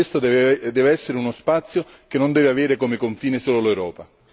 E questo deve essere uno spazio che non deve avere come confine solo l'Europa.